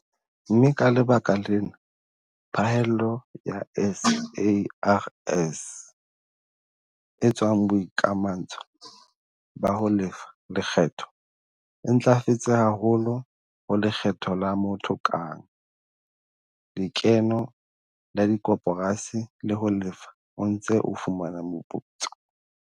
Mme ka lebaka lena phahello ya SARS e tswang boikamantsho ba ho lefa lekgetho e ntlafetse haholo ho lekgetho la motho kang, lekeno la dikoporasi le ho Lefa o Ntse o Fumana Moputso.